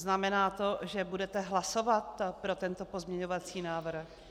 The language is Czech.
Znamená to, že budete hlasovat pro tento pozměňovací návrh?